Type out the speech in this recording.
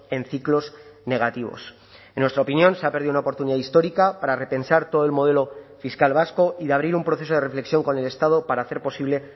en ciclos negativos en nuestra opinión se ha perdido una oportunidad histórica para repensar todo el modelo fiscal vasco y de abrir un proceso de reflexión con el estado para hacer posible